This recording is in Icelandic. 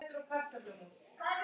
Dugar skammt.